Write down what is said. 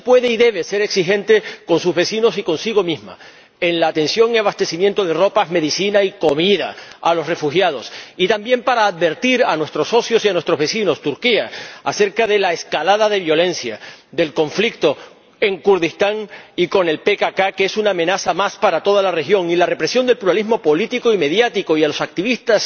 Pero sí pueden y deben ser exigentes con sus vecinos y consigo mismos en la atención y en el abastecimiento de ropa, medicinas y comida a los refugiados, y también para advertir a nuestros socios y a nuestros vecinos —Turquía— acerca de la escalada de violencia, del conflicto en Kurdistán y con el PKK, que es una amenaza más para toda la región, y de la represión del pluralismo político y mediático y de los activistas